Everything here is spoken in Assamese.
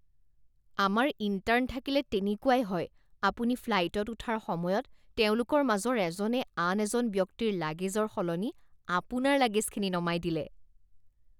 আমাৰ ইণ্টাৰ্ণ থাকিলে তেনেকুৱাই হয়। আপুনি ফ্লাইটত উঠাৰ সময়ত তেওঁলোকৰ মাজৰ এজনে আন এজন ব্যক্তিৰ লাগেজৰ সলনি আপোনাৰ লাগেজখিনি নমাই দিলে